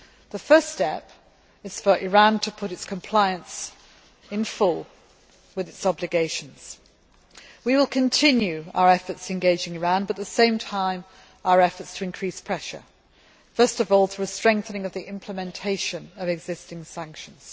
The first step is for Iran to put itself into full compliance with its obligations. We will continue our efforts engaging Iran but, at the same time, our efforts to increase the pressure, first of all, through a strengthening of the implementation of existing sanctions.